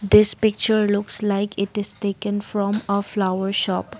this picture looks like it is taken from a flower shop.